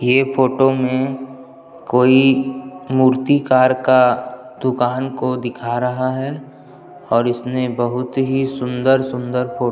ये फोटो में कोई मूर्तिकार का दुकान को दिखा रहा है और उसने बहुत ही सुन्दर-सुन्दर फोटो --